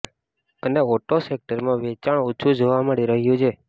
અને ઓટો સેક્ટરમાં વેચાણ ઓછુ જોવા મળી રહ્યું છે